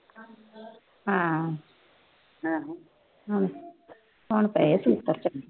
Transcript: ਹੁਣ ਪਏ ਛਿੱਤਰ ਚੰਗੇ।